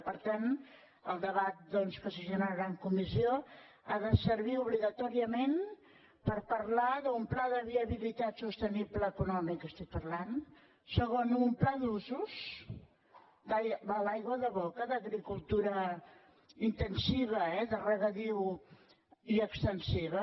i per tant el debat doncs que es generarà en comissió ha de servir obligatòriament per parlar d’un pla de viabilitat sostenible econòmic estic parlant segon un pla d’usos de l’aigua de boca d’agricultura intensiva eh de regadiu i extensiva